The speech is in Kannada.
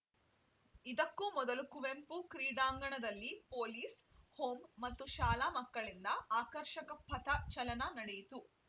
ಇದಕ್ಕೂ ಮೊದಲು ಕುವೆಂಪು ಕ್ರೀಡಾಂಗಣದಲ್ಲಿ ಪೊಲೀಸ್‌ ಹೋಂ ಮತ್ತು ಶಾಲಾ ಮಕ್ಕಳಿಂದ ಆಕರ್ಷಕ ಪಥ ಸಂಚಲನ ನಡೆಯಿತು